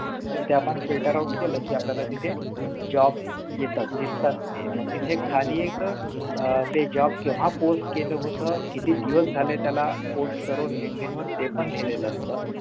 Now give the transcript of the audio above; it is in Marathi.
तर ते आपण filter out केलं कि आपल्याला तिथे job येतात दिसतात तिथे मग तिथे खाली एक आह ते job केव्हा post केलेलं होतं किती दिवस झाले त्याला post करून Linkdin वर ते पण लिहिलेलं असतं